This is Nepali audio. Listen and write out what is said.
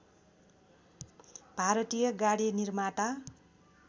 भारतीय गाडी निर्माता